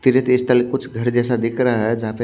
three digital कुछ घर जैसा दिख रहा है जहां पे--